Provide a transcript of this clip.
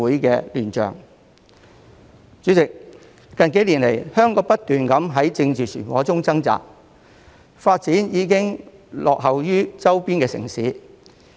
代理主席，香港近數年來不斷在政治漩渦中掙扎，發展已經落後於周邊城市。